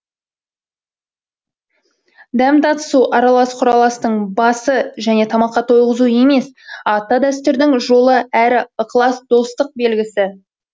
дәм татысу аралас құраластың басы және тамаққа тойғызу емес ата дәстүрдің жолы әрі ықылас достық белгісі